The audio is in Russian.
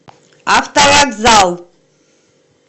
автовокзал